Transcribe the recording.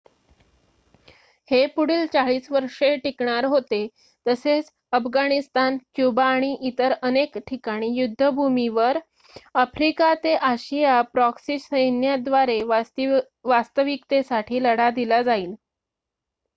हे पुढील 40 वर्षे टिकणार होते तसेच अफगाणिस्तान क्युबा आणि इतर अनेक ठिकाणी युद्धभूमीवर आफ्रिका ते आशिया प्रॉक्सी सैन्याद्वारे वास्तविकतेसाठी लढा दिला जाईल